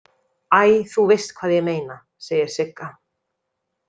Æ, þú veist hvað ég meina, segir Sigga.